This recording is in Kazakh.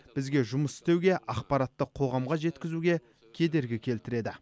бізге жұмыс істеуге ақпаратты қоғамға жеткізуге кедергі келтіреді